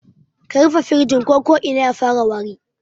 Ka rufe firijin ko ko'ina ya fara wari